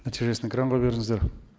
нәтижесін экранға беріңіздер